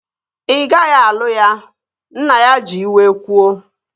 Ị gaghị alụ ya! Nna ya ji iwe kwuo